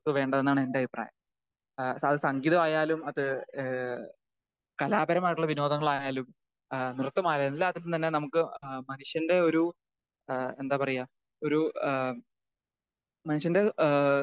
വേണ്ടതെന്ന് ആണ് എൻ്റെ അഭിപ്രായം. ഏഹ് അത് സംഗീതമായാലും അത് ഏഹ് കലാപരമായിട്ടുള്ള വിനോദങ്ങളായാലും ഏഹ് നൃത്തമായാലും എല്ലാത്തിലും തന്നെ നമുക്ക് ഏഹ് മനുഷ്യൻ്റെ ഒരു ഏഹ് എന്താ പറയാ ഒരു ഏഹ് മനുഷ്യൻ്റെ ഏഹ്,